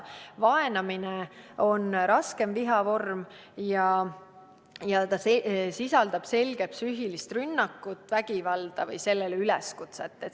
Vaenamine on raskem viha vorm ja sisaldab selget psüühilist rünnakut, vägivalda või sellele üleskutset.